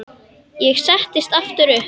Ég settist aftur upp.